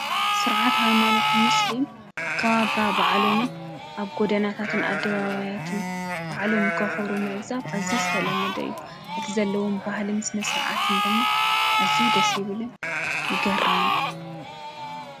ስርዓት ሃይማኖት ሙስሊም ኣከባብራ በዓሎምን ኣብ ጐዳናታትን ኣደባባያትን በዓሎም ከኽብሩሩ ምዕዛብ ኣዝዩ ዝተለመደ እዩ፡፡ እቲ ዘለዎም ባህል ስነ ስርዓትን ድማ እዝዩ ደስ ይብል እዩ፡፡ ይገርም እውን፡፡